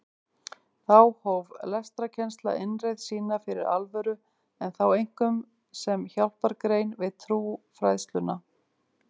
Þá hóf lestrarkennsla innreið sína fyrir alvöru en þá einkum sem hjálpargrein við trúfræðsluna.